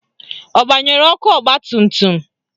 Ọ gbanyere ọkụ ọgbatumtum?